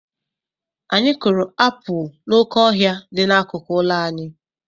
Anyị kụrụ apụl n'oké ọhịa dị n'akụkụ ụlọ anyị.